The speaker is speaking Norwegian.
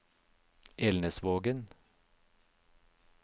Elnesvågen